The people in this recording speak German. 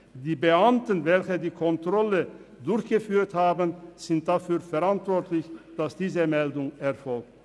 Die Beamten, welche die Kontrolle durchgeführt haben, sind dafür verantwortlich, dass diese Meldung erfolgt.